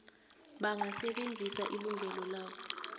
bangasebenzisa ilungelo labo